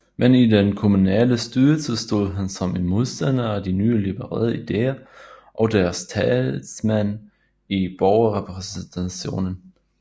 Men i den kommunale styrelse stod han som en modstander af de nye liberale ideer og deres talsmænd i Borgerrepræsentationen